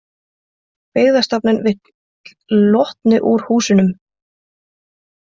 Byggðastofnun vill Lotnu úr húsunum